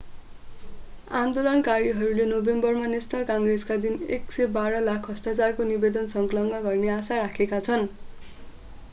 आन्दोलनकारीहरूले नोभेम्बरमा नेशनल काङ्ग्रेसमा दिन 112 लाख हस्ताक्षरको निवेदन सङ्कलन गर्ने आशा राखेका छन्